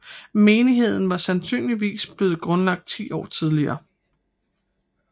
Menigheden var sandsynligvis blevet grundlagt ti år tidligere